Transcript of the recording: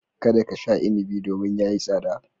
Kada ka sha inibi domin ya yi tsada.